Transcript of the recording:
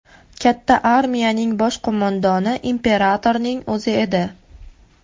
Katta armiyaning bosh qo‘mondoni imperatorning o‘zi edi.